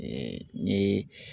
n ye.